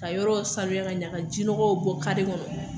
Ka yɔrɔw sanuya ka ɲa, ka jinɔgɔw bɔ kari kɔnɔ.